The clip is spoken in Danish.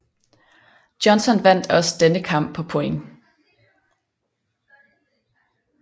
Johnson vandt også denne kamp på point